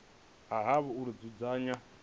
ha havho uri vha dzudzanye